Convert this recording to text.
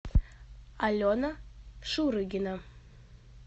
алена шурыгина